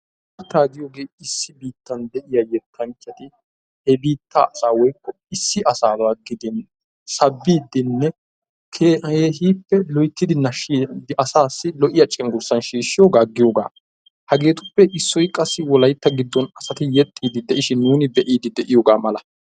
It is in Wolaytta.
Yettaa giyooge issi biittan de'iya yettanchchati he biittaa asaa woykko issi asaaba gidin sabbiidenne keehippe loyttidi naashshidi asassi lo"iya cenggurssan shiishshiyooga giyoogaa. Hagetuppe issoy qassi wolaytta giddon asati yeexxide de'ishin nuun be'ide de'iyooga mala.